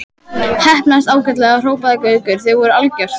Heppnaðist ágætlega hrópaði Gaukur, þið voruð algjört.